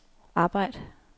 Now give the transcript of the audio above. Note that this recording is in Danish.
arbejd